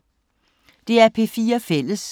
DR P4 Fælles